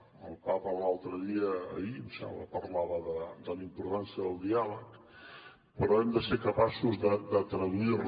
el papa l’altre dia ahir em sembla parlava de la importància del diàleg però hem de ser capaços de traduir la